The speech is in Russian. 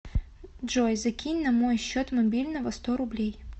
джой закинь на мой счет мобильного сто рублей